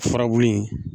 Furabulu in